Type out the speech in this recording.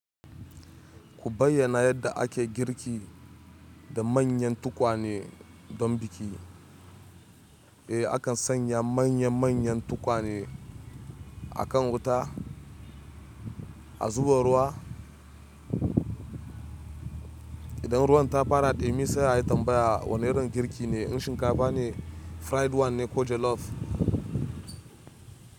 Ku bayyana yadda ake girki da manyan tukwane don biki. Eh, a kan sanya manya-manyan tukwane a kan wuta, a zuba ruwa. Idan ruwan ta fara ɗumi sai a yi tambaya wane irin girki ne, in shinkafa ne, fried one ne ko jollof.